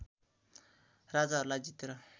राजाहरूलाई जितेर